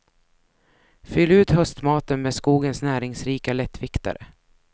Fyll ut höstmaten med skogens näringsrika lättviktare.